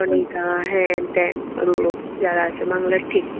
রনী দা হেনতেন। যারা আছে বাংলা ঠিক